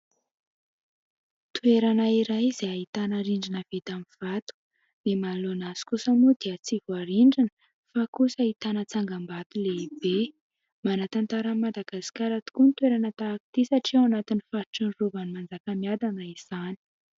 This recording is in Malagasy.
Toerana iray izay ahitana rindrina vita amin'ny vato ; ny manoloana azy kosa moa dia tsy voarindrina fa kosa ahitana tsangam-bato lehibe. Manan-tantara an'i Madagasikara tokoa ny toerana tahak'ity satria ao anatin'ny faritry ny Rovan'ny Manjakamiadana izany.